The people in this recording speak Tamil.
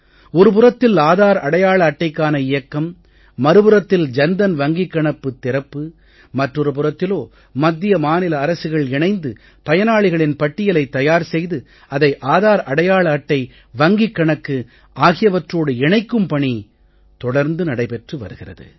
ஒரு புறத்தில் ஆதார் அடையாள அட்டைக்கான இயக்கம் மறுபுறத்தில் ஜன் தன் வங்கிக் கணக்குத் திறப்பு மற்றொரு புறத்திலோ மத்திய மாநில அரசுகள் இணைந்து பயனாளிகளின் பட்டியலைத் தயார் செய்து அதை ஆதார் அடையாள அட்டை வங்கிக் கணக்கு ஆகியவற்றோடு இணைக்கும் பணி தொடர்ந்து நடைபெற்று வருகிறது